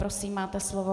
Prosím, máte slovo.